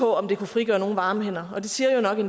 om det kunne frigøre nogen varme hænder